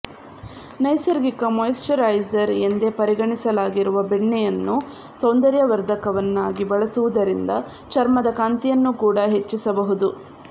ನೈಸರ್ಗಿಕ ಮಾಯಿಶ್ಚರೈಸರ್ ಎಂದೇ ಪರಿಗಣಿಸಲಾಗಿರುವ ಬೆಣ್ಣೆಯನ್ನು ಸೌಂದರ್ಯವರ್ಧಕ ವನ್ನಾಗಿ ಬಳಸುವುದರಿಂದ ಚರ್ಮದ ಕಾಂತಿಯನ್ನು ಕೂಡಾ ಹೆಚ್ಚಿಸಬಹುದು